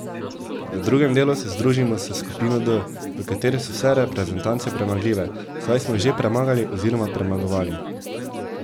V drugem delu se združimo s skupino D, v kateri so vse reprezentance premagljive, saj smo jih že premagali oziroma premagovali.